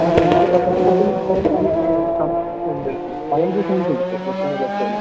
അതെയാ. ഞാന് പത്താം ക്ലാസ്സില് ബയോളജി സയൻസെടുത്ത് പ്ലസ് വണ്ണ്പ്ലസ് ടുവെല്ലാം.